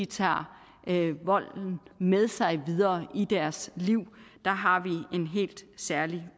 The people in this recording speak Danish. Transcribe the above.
tager volden med sig videre i deres liv der har vi en helt særlig